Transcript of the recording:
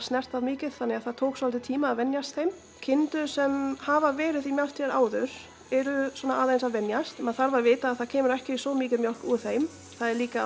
mikið þannig að það tók svolítinn tíma að venjast þeim kindur sem hafa verið í mjöltum áður eru aðeins að venjast maður þarf að vita að það kemur ekki svo mikil mjólk úr þeim það er líka